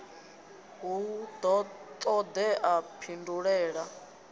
hu do todea u pindulela